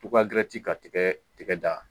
Uga dirɛti ka tigɛɛ tigɛ da